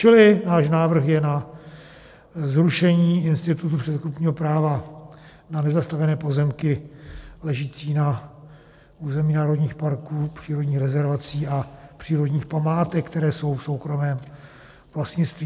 Čili náš návrh je na zrušení institutu předkupního práva na nezastavěné pozemky ležící na území národních parků, přírodních rezervací a přírodních památek, které jsou v soukromém vlastnictví.